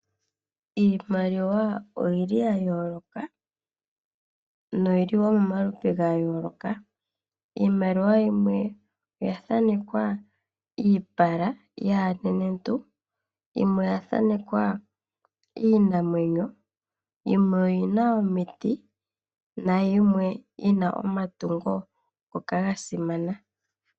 Iimaliwa oyili ya yooloka, no yili woo momaludhi ga yooloka. Iimaliwa yimwe oya thanekwa iipala yaanenentu, yimwe oya thanekwa iinamwenyo, yimwe oyina omiti na yimwe yina omatungo ngoka ga simana.